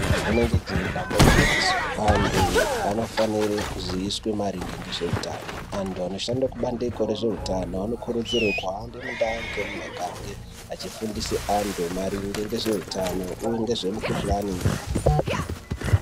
Renenge jee ndamba igwinyiso antu anofanire kuziiswe maringe ngezveutano. Antu anoshanda kubandiko rezveutano anokurudzirwa kuhamba mundau nemumugange achifundisa antu maringe ngezveutano uye ngezvemukhuhlani.